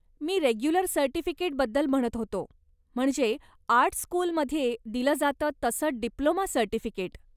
मी regular सर्टिफिकेटबद्दल म्हणत होतो, म्हणजे आर्ट स्कूलमध्ये दिलं जातं तसं डिप्लोमा सर्टिफिकेट.